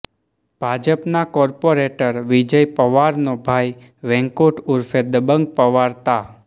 ભાજપના કોર્પાેરેટર વિજય પવારનો ભાઈ વૈકુંઠ ઊર્ફે દબંગ પવાર તા